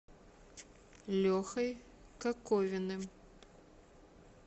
лехой коковиным